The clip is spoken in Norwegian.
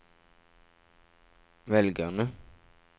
velgerne